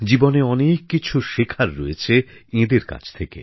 জীবনে অনেক কিছু শেখার রয়েছে এঁদের কাছ থেকে